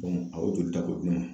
a y'o jolita ko d'u ma.